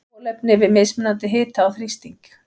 Kolefni við mismunandi hita og þrýsting.